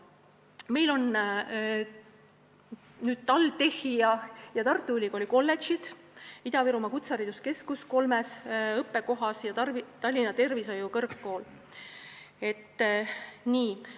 Meil on TalTechi ja Tartu Ülikooli kolledžid, Ida-Virumaa Kutsehariduskeskus kolmes õppekohas ja Tallinna Tervishoiu Kõrgkooli struktuuriüksus.